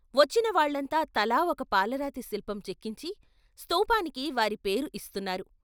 వచ్చిన వాళ్ళంతా తలా ఒక పాలరాతి శిల్పం చెక్కించి స్తూపానికి వారి పేరు ఇస్తున్నారు.